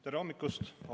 Tere hommikust!